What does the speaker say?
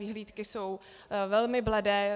Vyhlídky jsou velmi bledé.